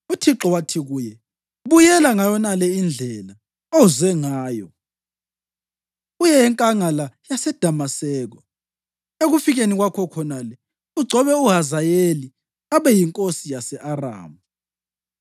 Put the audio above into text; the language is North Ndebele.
UThixo wathi kuye, “Buyela ngayonale indlela oze ngayo, uye enkangala yaseDamaseko. Ekufikeni kwakho khonale, ugcobe uHazayeli abe yinkosi yase-Aramu.